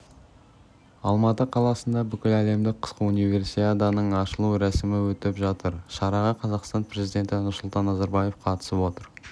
алматы қаласында бүкіләлемдік қысқы универсиаданың ашылу рәсімі өтіп жатыр шараға қазақстан президенті нұрсұлтан назарбаев қатысып отыр